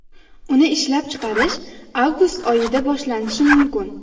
Uni ishlab chiqarish avgust oyida boshlanishi mumkin.